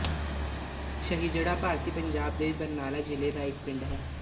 ਸਹਿਜੜਾ ਭਾਰਤੀ ਪੰਜਾਬ ਦੇ ਬਰਨਾਲਾ ਜ਼ਿਲ੍ਹਾ ਦਾ ਇੱਕ ਪਿੰਡ ਹੈ